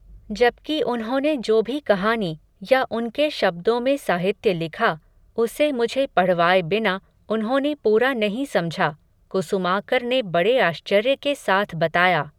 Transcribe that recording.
जबकि उन्होंने जो भी कहानी, या उनके शब्दों में साहित्य लिखा, उसे मुझे पढ़वाए बिना, उन्होंने पूरा नहीं समझा, कुसुमाकर ने बड़े आश्चर्य के साथ बताया